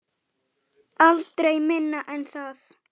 Aldrei minna en það.